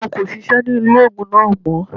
Wọn kò sisẹ́ ní ilé ògùn náà mọ́